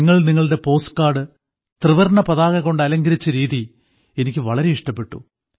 നിങ്ങൾ നിങ്ങളുടെ postcard ത്രിവർണ്ണ പതാകകൊണ്ട് അലങ്കരിച്ച രീതി എനിക്ക് വളരെ ഇഷ്ടപ്പെട്ടു